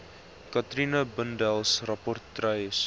katrina bundels rapportryers